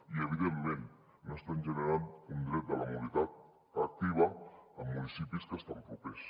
i evidentment no estan generant un dret de la mobilitat activa amb municipis que estan propers